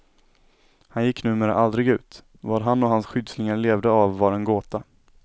Han gick numera aldrig ut, vad han och hans skyddslingar levde av var en gåta.